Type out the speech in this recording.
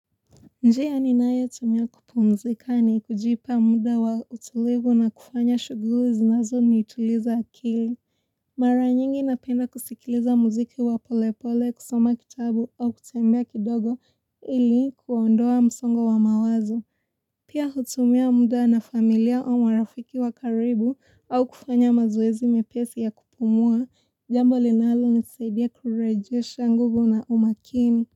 Nje ya ninae tumia kupumzika ni kujipa muda wa utulivu na kufanya shuguli zinazo nituliza akili. Mara nyingi napenda kusikiliza muziki wa polepole kusoma kitabu au kutembea kidogo ili kuwaondoa msongo wa mawazo. Pia hutumia muda na familia wa marafiki wa karibu au kufanya mazuwezi mepesi ya kupumua. Jambo linalo nisaidia kurejisha nguvu na umakini.